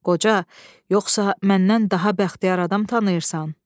"Qoca, yoxsa məndən daha bəxtiyar adam tanıyırsan?"